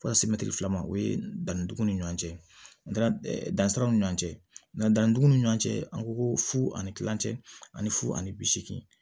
Fo ka se mɛtiri fila ma o ye danniduguw ni ɲɔɔn cɛ ndan dan siraw ni ɲɔɔn cɛ dandan dugun ni ɲɔɔn cɛ an ko ko fu ani kilancɛ ani fu ani bi seegin